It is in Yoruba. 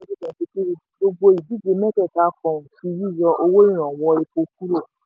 twenty twenty three gbogbo olùdíje mẹ́tẹ̀ẹ̀ta fohùn sí yíyọ owó ìrànwọ́ epo kúrò.